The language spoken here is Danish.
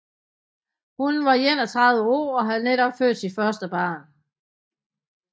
Hun var 31 år og havde netop født sit første barn